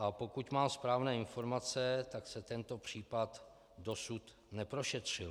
A pokud mám správné informace, tak se tento případ dosud neprošetřil.